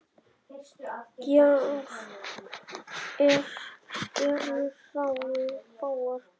Gjár eru fáar.